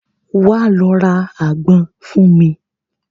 Wà á lọ ra àgbọn fún mi.